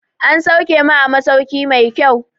An sauke mu a masauki mai kyau